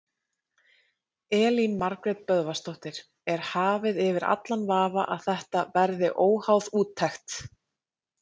Elín Margrét Böðvarsdóttir: Er hafið yfir allan vafa að þetta verið óháð úttekt?